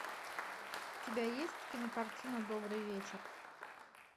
у тебя есть кинокартина добрый вечер